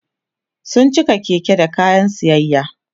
sun cika Keke da kayan siyayya